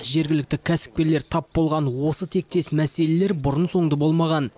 жергілікті кәсіпкерлер тап болған осы тектес мәселелер бұрын соңды болмаған